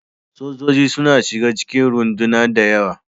Sojoji suna shiga cikin runduna da yawa.